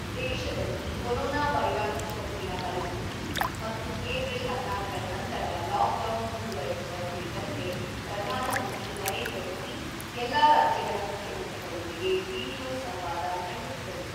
ದೇಶದಲ್ಲಿ ಕೊರೊನಾ ವೈರಾಣು ಸೋಂಕಿನ ಪರಿಸ್ಥಿತಿ ಮತ್ತು ಏಪ್ರಿಲ್ ಹದಿನಾಲ್ಕರ ನಂತರ ಲಾಕ್‌ಡೌನ್ ಮುಂದುವರೆಸುವ ಕುರಿತಂತೆ ಪ್ರಧಾನ ಮಂತ್ರಿ ನರೇಂದ್ರ ಮೋದಿ ಎಲ್ಲ ರಾಜ್ಯಗಳ ಮುಖ್ಯಮಂತ್ರಿಗಳೊಂದಿಗೆ ವಿಡಿಯೋ ಸಂವಾದ ನಡೆಸಿದರು.